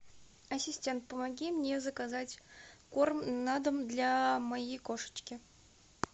ассистент помоги мне заказать корм на дом для моей кошечки